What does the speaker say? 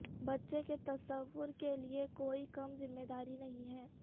بچے کے تصور کے لئے کوئی کم ذمہ داری نہیں ہے